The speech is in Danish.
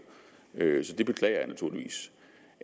så det beklager jeg naturligvis